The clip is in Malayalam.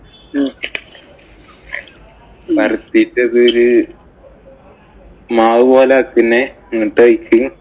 പരത്തീട്ട്‌ അതില് മാവു പോലാക്കി പിന്നെ എന്നിട്ട്